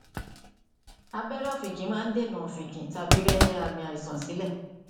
abẹrẹ ọfìnkì máa ń dènà ọfìnkì tàbí rẹ àmì àìsàn sílẹ